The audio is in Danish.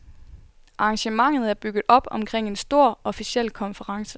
Arrangementet er bygget op omkring en stor, officiel konference.